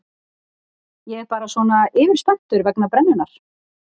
Ég er bara svona yfirspenntur vegna brennunnar.